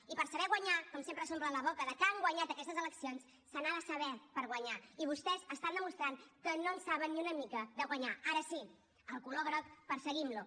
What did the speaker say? i per saber guanyar com sempre s’omplen la boca de que han guanyat aquestes eleccions se n’ha de saber per guanyar i vostès estan demostrant que no en saben ni una mica de guanyar ara sí el color groc perseguim lo